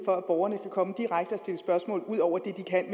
for at borgerne kan komme direkte og stille spørgsmål ud over dem de kan